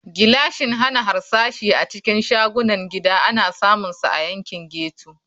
Gilashin hana harsashi a cikin shagunan gida ana samunsa a yankin ghetto.